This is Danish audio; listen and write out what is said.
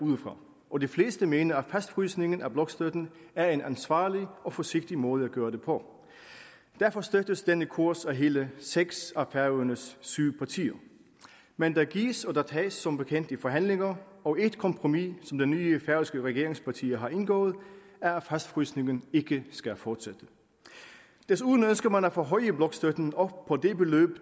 udefra og de fleste mener at fastfrysningen af blokstøtten er en ansvarlig og forsigtig måde at gøre det på derfor støttes denne kurs af hele seks af færøernes syv partier men der gives og tages som bekendt i forhandlinger og et kompromis som de nye færøske regeringspartier har indgået er at fastfrysningen ikke skal fortsætte desuden ønsker man at forhøje blokstøtten op på det beløb